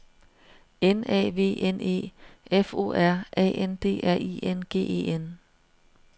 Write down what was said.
N A V N E F O R A N D R I N G E N